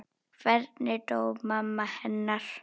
Hvernig dó mamma hennar?